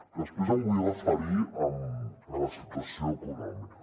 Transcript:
després em vull referir a la situació econòmica